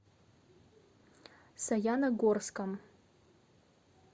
саяногорском